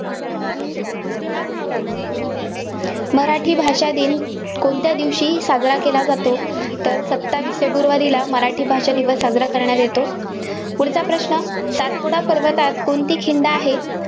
मराठी भाषा दिन कोणत्या दिवशी साजरा केला जातो. तर सत्तावीस फेब्रुवारीला मराठी भाषा दिवस साजरा करण्यात येतो. पुढचा प्रश्न सातपुडा पर्वतात कोणती खिंड आहे?